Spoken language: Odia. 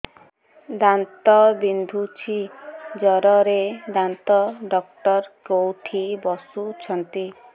ଦାନ୍ତ ବିନ୍ଧୁଛି ଜୋରରେ ଦାନ୍ତ ଡକ୍ଟର କୋଉଠି ବସୁଛନ୍ତି